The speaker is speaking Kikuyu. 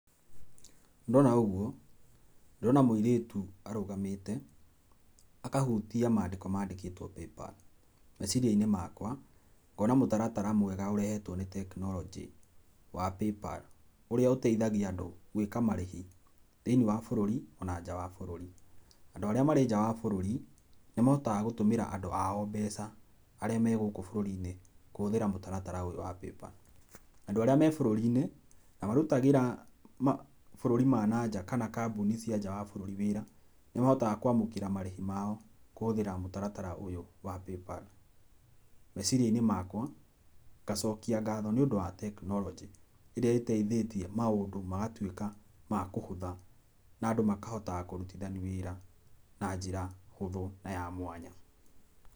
Ndona ũgũo, ndĩrona mũirĩtũ arũgamĩte akahũtia mandĩko mandĩkĩtwo Paypal. Meciria-inĩ makwa, ngona mũtaratara mwega ũrehetwo nĩ tekinoronjĩ wa Paypal, ũrĩa ũteithagia andũ gwĩka marĩhi thĩini wa bũrũri, ona nja wa bũrũri. Andũ arĩa marĩ nja wa bũrũri, nĩ mahotaga gũtũmĩra andũ ao mbeca, arĩa me gũkũ bũrũri-inĩ kũhũthĩra mũtaratara ũyũ wa Paypal. Andũ arĩa me bũrũri-inĩ na marũtagĩra ma bũrũri ma nanja kana kambũni cia nja wa bũrũri wĩra, nĩ mahotaga kwamũkĩra marĩhi mao kũhũthĩra mũtaratara ũyũ wa Paypal. Meciria-inĩ makwa ngacokia ngatho nĩ undũ wa tekinoronjĩ, ĩrĩa ĩteithĩtie maũndũ magatũĩka ma kũhũtha na andũ makahotaga kũrutithania wĩra na njĩra hũthũ na ya mwanya.